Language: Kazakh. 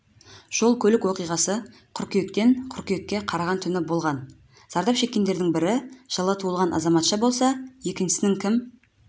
жол-көлік оқиғасы қыркүйектен қыркүйекке қараған түні болған зардап шеккендердің бірі жылы туған азаматша болса екіншісінің кім